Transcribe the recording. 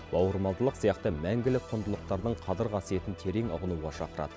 бауырмалдылық сияқты мәңгілік құндылықтардың қадір қасиетін терең ұғынуға шақырады